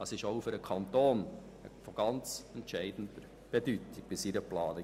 Dies ist auch für die Planung und die Arbeiten des Kantons von ganz entscheidender Bedeutung.